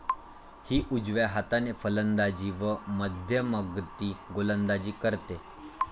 ही उजव्या हाताने फलंदाजी व मध्यमगती गोलंदाजी करते.